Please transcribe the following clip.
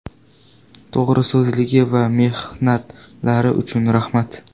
To‘g‘riso‘zligi va mehnatlari uchun rahmat.